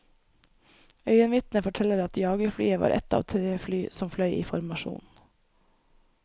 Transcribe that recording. Øyenvitner forteller at jagerflyet var ett av tre fly som fløy i formasjon.